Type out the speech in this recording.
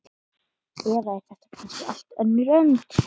Eða er þetta kannski allt önnur önd?